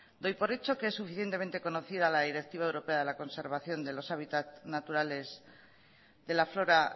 doy por hecho que es suficientemente conocida la directiva europea de la conservación de los hábitat naturales de la flora